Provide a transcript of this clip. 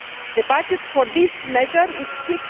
The budget for that measure is EUR